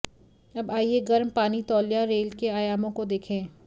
अब आइए गर्म पानी तौलिया रेल के आयामों को देखें